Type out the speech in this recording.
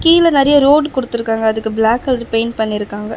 கீழ நறைய ரோடு கொடுத்திருக்காங்க. அதுக்கு பிளாக் கலர் பெயிண்ட் பண்ணிருக்காங்க.